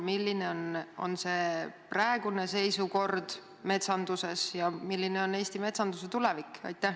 Milline on praegune Eesti metsanduse seisukord ja tulevik?